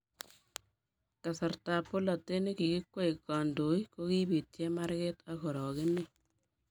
kasartab polatet ne kikikwei kandoik ko kibit chemarket ak orokenet